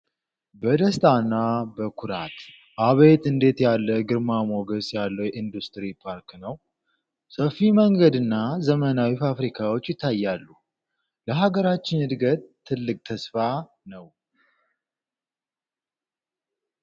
በደስታና በኩራት! አቤት እንዴት ያለ ግርማ ሞገስ ያለው የኢንዱስትሪ ፓርክ ነው! ሰፊ መንገድና ዘመናዊ ፋብሪካዎች ይታያሉ! ለሃገራችን ዕድገት ትልቅ ተስፋ ነው!